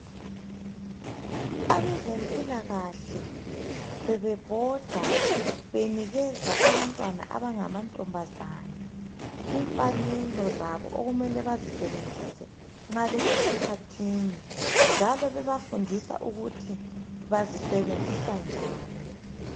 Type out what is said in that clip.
Abezempilakahle bebebhoda benikeza abantwana abangamantombazana imfanelo zabo okumele bazisebenzise nxa besesikhathini njalo bebafundisa ukuthi bazisebenzisa njani.